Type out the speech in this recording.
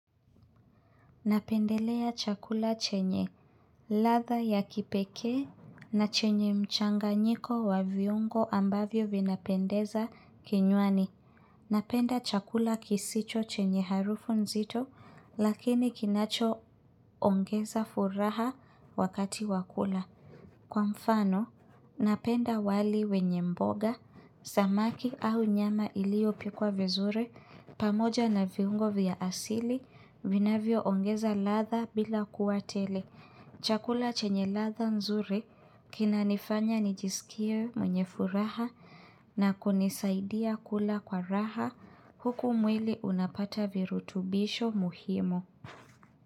Napendelea chakula chenye, ladha ya kipekee na chenye mchanganyiko wa viungo ambavyo vinapendeza kinywani. Napenda chakula kisicho chenye harufu nzito lakini kinachoongeza furaha wakati wa kula. Kwa mfano, napenda wali wenye mboga, samaki au nyama iliyopikwa vizuri, pamoja na viungo vya asili, vinavyoongeza ladha bila kuwa tele. Chakula chenye ladha nzuri, kinanifanya nijisikie mwenye furaha na kunisaidia kula kwa raha, huku mwili unapata virutubisho muhimu.